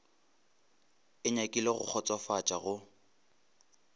e nyakile go kgotsofatša go